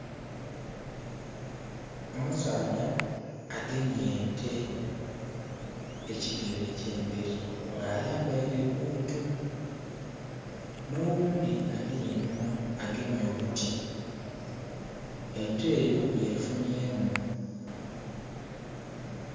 Omusaadha agemye nte ekigere ekye mberi nga ayambaire buutu. Noghundi ajiri einhuma agemye oluti. Ente 'yo yefunyemu